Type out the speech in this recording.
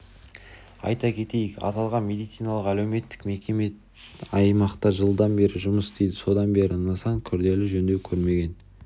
айта кетейік аталған медициналық-әлеуметтік мекеме аймақта жылдан бері жұмыс істейді содан бері нысан күрделі жөндеу көрмеген